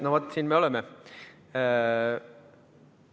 No vaat, siin me oleme!